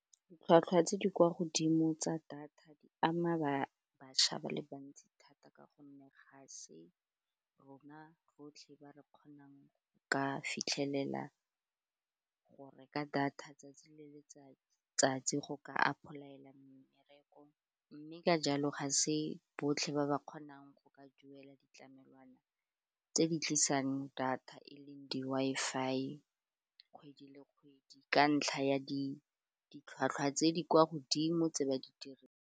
Ditlhwatlhwa tse di kwa godimo tsa data di ama ba bašwa ba le bantsi thata ka gonne ga se rona rotlhe ba re kgonang go ka fitlhelela go reka data 'tsatsi le letsatsi go ka ipolaela mmereko, mme ka jalo ga se botlhe ba ba kgonang go ka duela ditlamelwana tse di tlisang data e leng di-Wi-Fi kgwedi le kgwedi ka ntlha ya ditlhwatlhwa tse di kwa godimo tse ba di dirang.